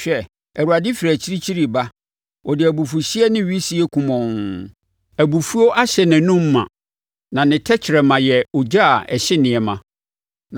Hwɛ! Awurade firi akyirikyiri reba, ɔde abufuhyeɛ ne wisie kumɔnn; abufuo ahyɛ nʼanom ma, na ne tɛkrɛma yɛ ogya a ɛhye nneɛma.